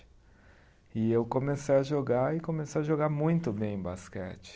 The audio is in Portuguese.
E eu comecei a jogar e comecei a jogar muito bem basquete.